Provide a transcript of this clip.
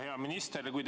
Hea minister!